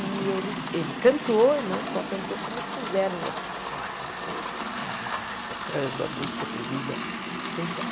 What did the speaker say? E eles ele cantou, e não só cantou, como puseram lá para fora, depois de ficar tocando a música proibida um tempão.